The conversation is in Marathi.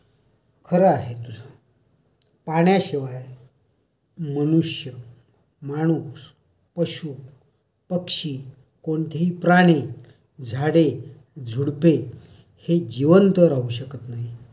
खरं आहे तुझं. पाण्याशिवाय मनुष्य माणूस पशू पक्षी कोणतेही प्राणी झाडे, झुडुपे, हे जीवंत राहू शकत नाहीत.